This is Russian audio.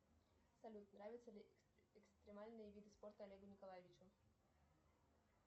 салют нравятся ли экстремальные виды спорта олегу николаевичу